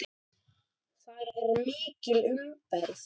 Þar er mikil umferð.